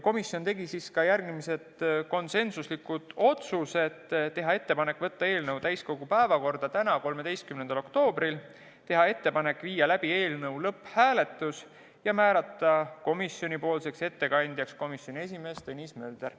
Komisjon tegi järgmised konsensuslikud otsused: teha ettepanek võtta eelnõu täiskogu päevakorda tänaseks, 13. oktoobriks, teha ettepanek viia läbi eelnõu lõpphääletus ja määrata komisjoni ettekandjaks komisjoni esimees Tõnis Mölder.